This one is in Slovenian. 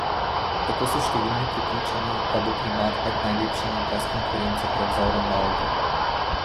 Tako so številni prepričani, da bo primat med najlepšimi brez konkurence prevzel Ronaldo.